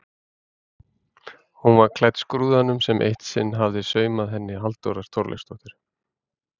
Hún var klædd skrúðanum sem eitt sinn hafði saumað henni Halldóra Þorleifsdóttir.